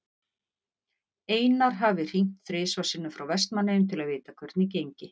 Einar hafi hringt þrisvar sinnum frá Vestmannaeyjum til að vita hvernig gengi.